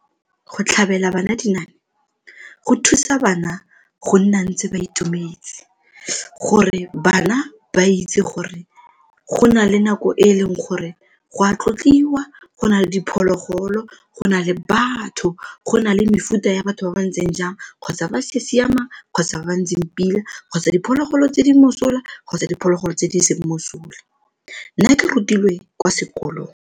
Go tlhabela bana dinaane go thusa bana go nna ntse ba itumetse. Gore bana ba itse gore go na le nako e e leng gore go a tlotliwa, go na le diphologolo, go na le batho, go na le mefuta ya batho ba ba ntseng jang kgotsa ba sa siamang kgotsa ba ba ntseng pila kgotsa diphologolo tse di mosola kgotsa diphologolo tse di seng mosola nna ke rutilwe kwa sekolong.